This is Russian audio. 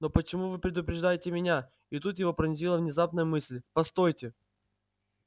но почему вы предупреждаете меня и тут его пронзила внезапная мысль постойте